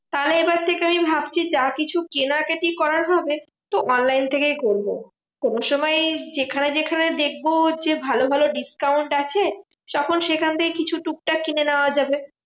তাহলে এবার থেকে আমি ভাবছি যা কিছু কেনাকাটি করার হবে, তো online থেকেই করবো। কোনসময় যেখানে যেখানে দেখবো হচ্ছে ভালো ভালো discount আছে, তখন সেইখান থেকে কিছু টুকটাক কিনে নেওয়া যাবে।